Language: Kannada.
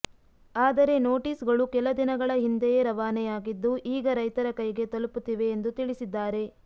ಆದರೆ ನೋಟಿಸ್ ಗಳು ಕೆಲ ದಿನಗಳ ಹಿಂದೆಯೇ ರವಾನೆಯಾಗಿದ್ದು ಈಗ ರೈತರ ಕೈಗೆ ತಲುಪುತ್ತಿವೆ ಎಂದು ತಿಳಿಸಿದ್ದಾರೆ